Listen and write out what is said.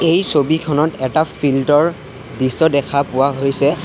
এই ছবিখনত এটা ফিল্ড ৰ দৃশ্য দেখা পোৱা হৈছে।